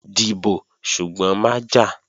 Dìbò, ṣùgbọ́n má jà!